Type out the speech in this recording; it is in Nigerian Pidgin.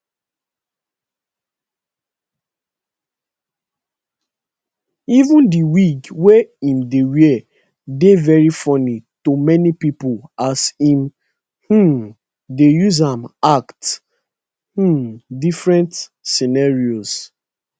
even di wig wey im dey wear dey very funny to many pipo as im um dey use am act um different scenarios